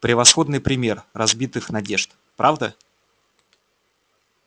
превосходный пример разбитых надежд правда